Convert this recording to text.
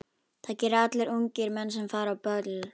Það gera allir ungir menn sem fara á böll.